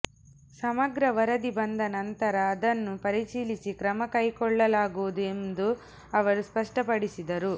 ಸಮಗ್ರ ವರದಿ ಬಂದ ನಂತರ ಅದನ್ನು ಪರಿಶೀಲಿಸಿ ಕ್ರಮಕೈಗೊಳ್ಳಲಾಗುವುದು ಎಂದು ಅವರು ಸ್ಪಷ್ಟಪಡಿಸಿದರು